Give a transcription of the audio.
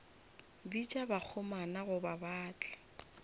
bitša bakgomana gore ba tle